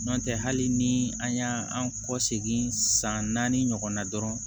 N'o tɛ hali ni an y'an kɔ segin san naani ɲɔgɔn na dɔrɔn